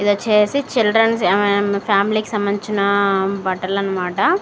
ఇది వచ్చేసి చిల్డ్రన్స్ ఫ్యామిలీకి సంబంధించిన బట్టలనమాట.